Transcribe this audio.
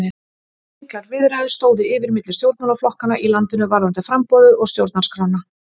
Miklar viðræður stóðu yfir milli stjórnmálaflokkanna í landinu varðandi framboðið og stjórnarskrána.